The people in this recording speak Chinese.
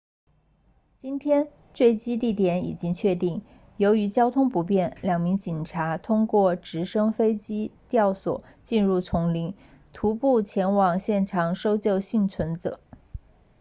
今天坠机地点已经确定由于交通不便两名警察通过直升飞机吊索进入丛林徒步前往现场搜救幸存者